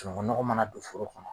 Sunukunnɔgɔ mana don foro kɔnɔ